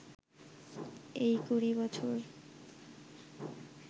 এই কুড়ি বছর